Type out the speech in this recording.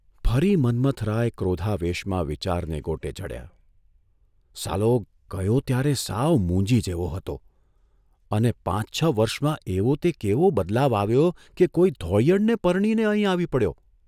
ફરી મન્મથરાય ક્રોધાવેશમાં વિચારને ગોટે ચઢ્યા, ' સાલો, ગયો ત્યારે સાવ મૂંજી જેવો હતો અને પાંચ છ વર્ષમાં એવો તે કેવો બદલાવ આવ્યો કે કોઇ ધોળીયણને પરણીને અહીં આવી પડ્યો?